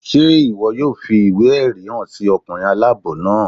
Ṣe iwọ yóò fi iwe-ẹrí han sí ọkunrin alabọ naa?